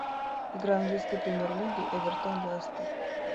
игра английской премьер лиги эвертон лестер